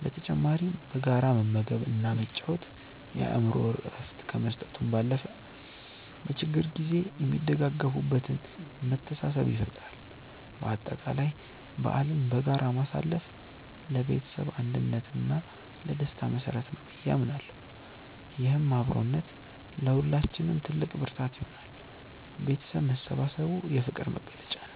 በተጨማሪም በጋራ መመገብ እና መጫወት የአእምሮ እረፍት ከመስጠቱ ባለፈ፣ በችግር ጊዜ የሚደጋገፉበትን መተሳሰብ ይፈጥራል። በአጠቃላይ በዓልን በጋራ ማሳለፍ ለቤተሰብ አንድነት እና ለደስታ መሰረት ነው ብዬ አምናለሁ። ይህም አብሮነት ለሁላችንም ትልቅ ብርታት ይሆናል። ቤተሰብ መሰባሰቡ የፍቅር መግለጫ ነው።